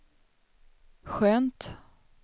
skönt